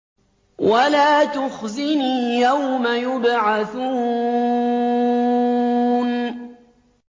وَلَا تُخْزِنِي يَوْمَ يُبْعَثُونَ